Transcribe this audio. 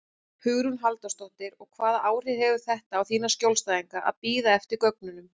Hugrún Halldórsdóttir: Og hvaða áhrif hefur þetta á þína skjólstæðinga að bíða eftir gögnunum?